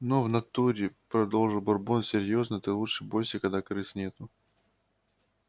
но в натуре продолжил бурбон серьёзно ты лучше бойся когда крыс нету